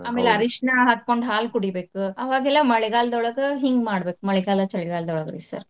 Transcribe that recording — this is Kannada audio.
ಅರ್ಶನಾ ಹಾಕ್ಕೊಂಡ್ ಹಾಲ್ ಕುಡಿಬೇಕ್. ಅವಾಗೆಲ್ಲಾ ಮಳೆಗಾಲ್ದೊಳಗ ಹಿಂಗ್ ಮಾಡ್ಬೇಕ್ ಮಳೆಗಾಲ ಚಳಿಗಾಲಾದೊಳಗ್ರಿ sir .